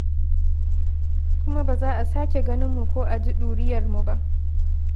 Kuma ba za a sake ganin mu ko a ji ɗuriyarmu ba.